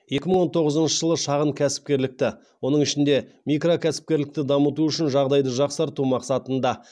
екі мың он тоғызыншы жылы шағын кәсіпкерлікті оның ішінде микрокәсіпкерлікті дамыту үшін жағдайды жақсарту мақсатында